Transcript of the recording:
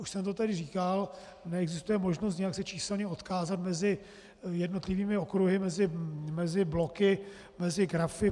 Už jsem to tady říkal, neexistuje možnost nějak se číselně odkázat mezi jednotlivými okruhy, mezi bloky, mezi grafy.